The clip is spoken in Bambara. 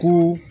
Ko